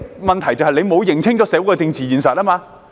問題是政府沒有認清社會的政治現實。